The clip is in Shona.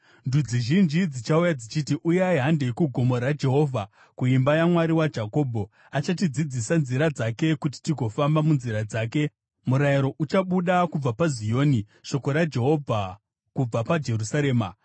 Ndudzi zhinji dzichauya dzichiti, “Uyai, handei kugomo raJehovha, kuimba yaMwari waJakobho. Achatidzidzisa nzira dzake, kuti tigofamba munzira dzake.” Murayiro uchabuda kubva paZioni, shoko raJehovha kubva paJerusarema.